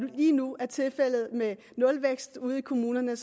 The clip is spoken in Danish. lige nu er tilfældet med nulvækst ude i kommunerne